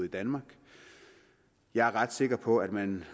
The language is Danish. i danmark jeg er ret sikker på at man